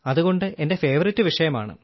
അതുകൊണ്ട് എന്റെ ഫേവറിറ്റ് വിഷയമാണ്